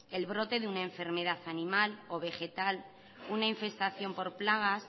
el brote de una enfermedad animal o vegetal una infestación por plagas